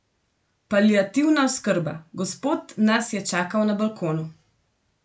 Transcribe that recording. Paliativna oskrba: "Gospod nas je čakal na balkonu.